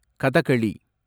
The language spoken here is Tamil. கதகளி